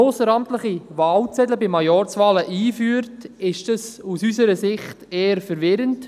Ausseramtliche Wahlzettel bei Majorzwahlen einzuführen, ist aus unserer Sicht eher verwirrend.